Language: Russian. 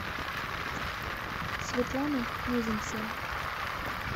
светланой мезенцевой